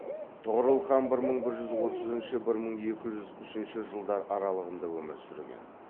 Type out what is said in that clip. тұғырыл хан бір мың бір жүз отызыншы бір мың екі жүз үшінші жылдар аралығында өмір сүрген